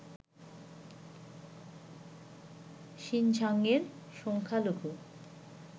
শিনঝাংয়ের সংখ্যালঘু